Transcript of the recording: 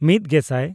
ᱢᱤᱫᱼᱜᱮᱥᱟᱭ